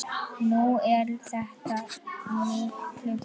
Nú er þetta miklu betra.